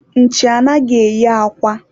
nchi anaghị eyi akwa